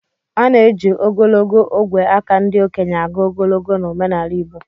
A na-eji ogologo ogwe aka ndị okenye agụ ogologo na omenala igbo